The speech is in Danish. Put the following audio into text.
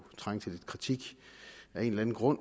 trænge til lidt kritik af en eller anden grund